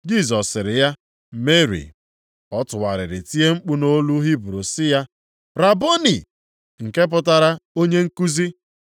Jisọs sịrị ya, “Meri.” Ọ tụgharịrị tie mkpu nʼolu Hibru sị ya, “Raboni!” (nke pụtara “Onye nkuzi.)”